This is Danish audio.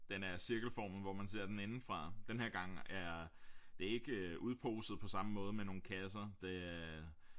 Den er cirkelformet hvor man ser den indefra den her gang er det ikke udposet på samme måde med nogle kasser det øh